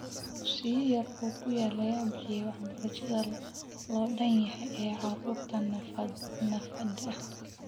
Dugsiyo yar oo ku yaal ayaa bixiya waxbarasho loo dhan yahay ee carruurta naafada ah.